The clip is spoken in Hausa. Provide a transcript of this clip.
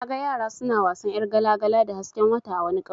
Naga yara suna wasan yar gala-gala da hasken wata a wani ƙauye.